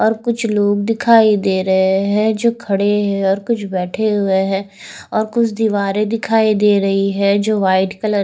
और कुछ लोग दिखाई दे रहे हैं जो खड़े हैं और कुछ बैठे हुए हैं और कुछ दीवारें दिखाई दे रही हैं जो व्हाइट कलर --